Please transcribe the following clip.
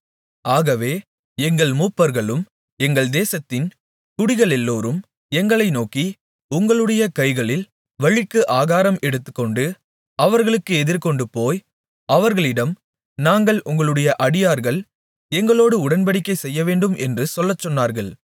ஆகவே எங்கள் மூப்பர்களும் எங்கள் தேசத்தின் குடிகளெல்லோரும் எங்களை நோக்கி உங்களுடைய கைகளில் வழிக்கு ஆகாரம் எடுத்துக்கொண்டு அவர்களுக்கு எதிர்கொண்டுபோய் அவர்களிடம் நாங்கள் உங்களுடைய அடியார்கள் எங்களோடு உடன்படிக்கை செய்யவேண்டும் என்று சொல்லச்சொன்னார்கள்